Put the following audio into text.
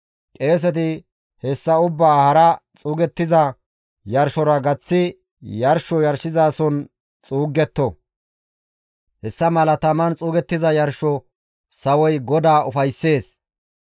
Qeeseti hessa ubbaa hara xuugettiza yarshora gaththi yarsho yarshizason xuugetto; hessa mala taman xuugettiza yarsho sawoy GODAA ufayssees.